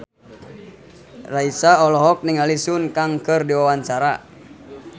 Raisa olohok ningali Sun Kang keur diwawancara